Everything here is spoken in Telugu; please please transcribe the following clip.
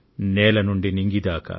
నేల నుండి నింగి దాకా